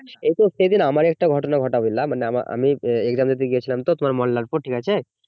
এইতো সেইদিন আমরাই একটা ঘটনা ঘটালাম মানে আমার আমি exam দিতে গেছিলাম তো তোমার মোল্লারপুর ঠিক আছে